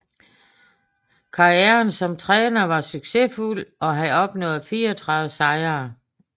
Karrieren som træner var succesfuld og han opnåede 34 sejre